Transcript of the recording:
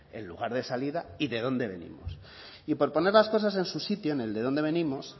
el lugar de salida y de dónde venimos y por poner las cosas en su sitio en el de dónde venimos